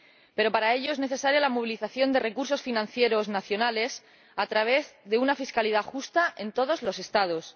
Pero, para ello, es necesaria la movilización de recursos financieros nacionales a través de una fiscalidad justa en todos los Estados.